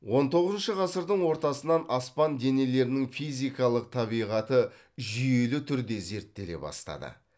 он тоғызыншы ғасырдың ортасынан аспан денелерінің физикалық табиғаты жүйелі түрде зерттеле бастады